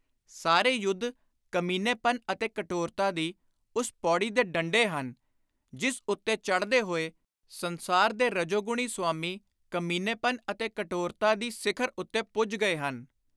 ਸਾਰੇ ਯੁੱਧ ਕਮੀਨੇਪਨ ਅਤੇ ਕਠੋਰਤਾ ਦੀ ਉਸ ਪੌੜੀ ਦੇ ਡੰਡੇ ਹਨ, ਜਿਸ ਉੱਤੇ ਚੜ੍ਹਦੇ ਹੋਏ ਸੰਸਾਰ ਦੇ ਰਜੋਗੁਣੀ ਸੁਆਮੀ ਕਮੀਨੇਪਨ ਅਤੇ ਕਠੋਰਤਾ ਦੀ ਸਿਖਰ ਉੱਤੇ ਪੁੱਜ ਗਏ ਹਨ।